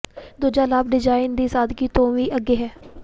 ਦੂਜਾ ਲਾਭ ਡਿਜ਼ਾਈਨ ਦੀ ਸਾਦਗੀ ਤੋਂ ਵੀ ਅੱਗੇ ਹੈ